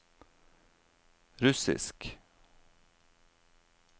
russisk